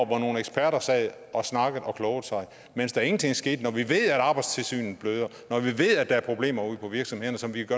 hvor nogle eksperter sad og snakkede og klogede sig mens der ingenting skete når vi ved at arbejdstilsynet bløder og når vi ved at der er problemer ude på virksomhederne som vi